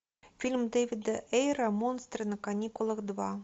фильм дэвида эйра монстры на каникулах два